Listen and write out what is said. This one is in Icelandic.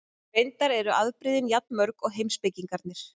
Vinna þyngdarkrafts er þannig margfeldi krafts og hæðarmunar.